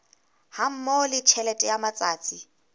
hammoho le tjhelete ya matsatsi